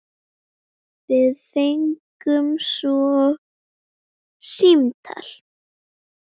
Við fengum svo símtal.